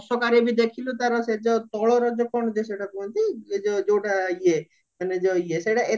ଅଶୋକାରେ ବି ଦେଖିଲୁ ତାର ସେ ଯୋଉ ତଳର ଯେ କଣ ଯେ ସେଟ କୁହନ୍ତି ଏଇ ଯଉଟା ଇଏ ମାନେ ଯୋଉ ଇଏ